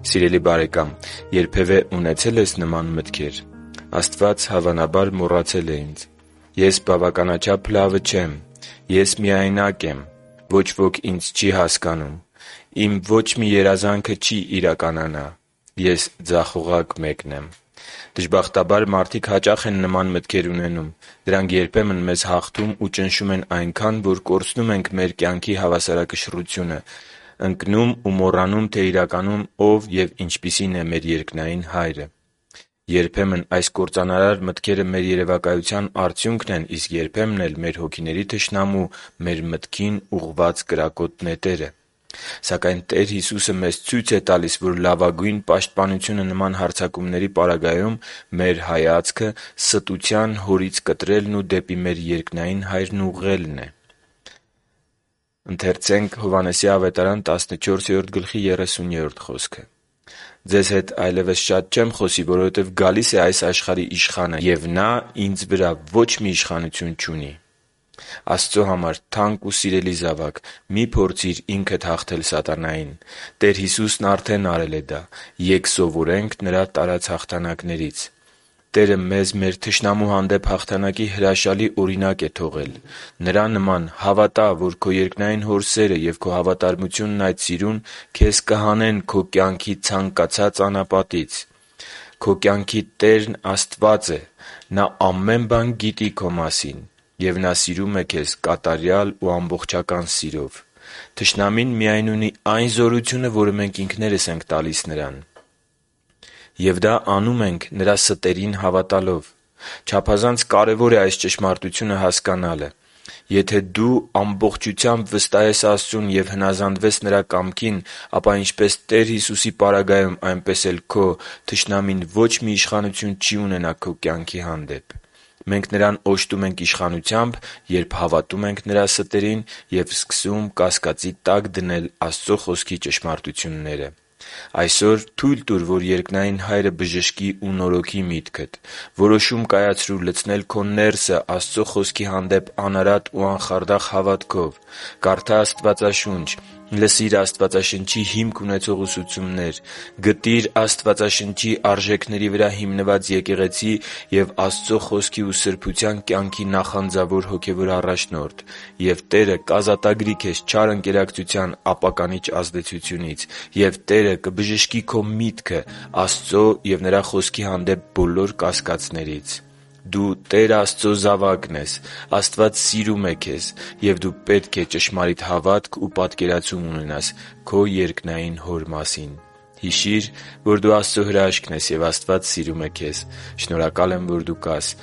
Սիրելի՛ բարեկամ, երբևէ ունեցե՞լ ես նման մտքեր․ «Աստված, հավանաբար, մոռացել է ինձ»։ «Ես բավականաչափ լավը չեմ»։ «Ես միայնակ եմ»։ «Ոչ ոք ինձ չի հասկանում»։ «Իմ ոչ մի երազանքը չի իրականանա»։ «Ես ձախողակ մեկն եմ»։ Դժբախտաբար, մարդիկ հաճախ են նման մտքեր ունենում։ Դրանք երբեմն մեզ հաղթում ու ճնշում են այնքան, որ կորցնում ենք մեր կյանքի հավասարակշռությունը, ընկնում ու մոռանում, թե իրականում Ով և ինչպիսին է մեր երկնային Հայրը։ Երբեմն այս կործանարար մտքերը մեր երևակայության արդյունքն են, իսկ երբեմն էլ՝ մեր հոգիների թշնամու մեր մտքին ուղղված կրակոտ նետերը… Սակայն Տեր Հիսուսը մեզ ցույց է տալիս, որ լավագույն պաշտպանությունը նման հարձակումների պարագայում մեր հայացքը «ստության հորից» կտրելն ու դեպի մեր երկնային Հայրն ուղղելն է։ «Ձեզ հետ այլևս շատ չեմ խոսի, որովհետև գալիս է այս աշխարհի իշխանը, և նա Ինձ վրա ոչ մի իշխանություն չունի» (Հովհաննես 14․30): Աստծո համար թանկ ու սիրելի՛ զավակ, մի՛ փորձիր ինքդ հաղթել սատանային։ Տեր Հիսուսն արդեն արել է դա։ Ե՛կ սովորենք Նրա տարած հաղթանակներից․․․ Տերը մեզ մեր թշնամու հանդեպ հաղթանակի հրաշալի օրինակ է թողել։ Նրա նման հավատա՛, որ քո երկնային Հոր սերը և քո հավատարմությունն այդ սիրուն քեզ կհանեն քո կյանքի ցանկացած անապատից։ Քո կյանքի Տերն Աստված է։ Նա ամեն բան գիտի քո մասին։ Եվ Նա սիրում է քեզ կատարյալ ու ամբողջական սիրով։ Թշնամին միայն ունի այն զորությունը, որը մենք ինքներս ենք տալիս նրան։ Եվ դա անում ենք՝ նրա ստերին հավատալով։ Չափազանց կարևոր է այս ճշմարտությունը հասկանալը։ Եթե դու ամբողջությամբ վստահես Աստծուն և հնազանդվես Նրա կամքին, ապա, ինչպես Տեր Հիսուսի պարագայում, այնպես էլ քո, թշնամին ոչ մի իշխանություն չի ունենա քո կյանքի հանդեպ։ Մենք նրան օժտում ենք իշխանությամբ, երբ հավատում ենք նրա ստերին և սկսում կասկածի տակ դնել Աստծո Խոսքի ճշմարտությունները։ Այսօր թո՛ւյլ տուր, որ երկնային Հայրը բժշկի ու նորոգի միտքդ։ Որոշում կայացրո՛ւ լցնել քո ներսը Աստծո Խոսքի հանդեպ անարատ ու անխարդախ հավատքով։ Կարդա՛ Աստվածաշունչ։ Լսի՛ր Աստվածաշնչի հիմք ունեցող ուսուցումներ։ Գտի՛ր Աստվածաշնչի արժեքների վրա հիմնված եկեղեցի և Աստծո Խոսքի ու սրբության կյանքի նախանձավոր հոգևոր առաջնորդ։ Եվ Տերը կազատագրի քեզ չար ընկերակցության ապականիչ ազդեցությունից։ Եվ Տերը կբժշկի քո միտքը Աստծո և Նրա Խոսքի հանդեպ բոլոր կասկածներից։ Դու Տեր Աստծո զավակն ես։ Աստված սիրում է քեզ։ Եվ դու պետք է ճշմարիտ հավատք ու պատկերացում ունենաս քո երկնային Հոր մասին։ Հիշի՛ր, որ դու Աստծո հրաշքն ես, և Աստված սիրում է քեզ։ Շնորհակալ եմ, որ դու կա՛ս